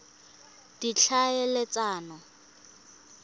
ditlhaeletsano